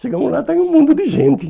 Chegamos lá e estava um mundo de gente.